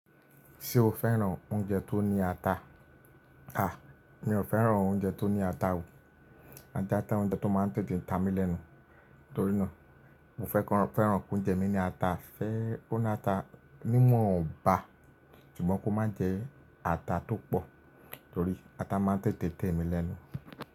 Ṣé o fẹ́ràn oúnjẹ tó ní ata? À, mi ò fẹ́ràn oúnjẹ tó ní ata o. Ata jẹ́ oúnjẹ tó máa ń tètè ń ta mi lẹ́nu, torí náà mo fẹ́ran pé oúnjẹ mi ní ata fẹ́rẹ́, kó ní ata ní mọ̀ọ́ bà, ṣùgbọ́n kó má jẹ ata tó pọ̀ torí ata máa ń tètè tè mi lẹ́nu.